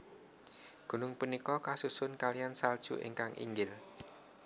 Gunung punika kasusun kaliyan salju ingkang inggil